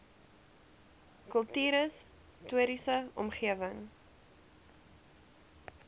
kultuurhis toriese omgewing